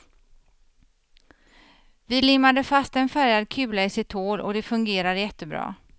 Vi limmade fast en färgad kula i sitt hål och det fungerar jättebra.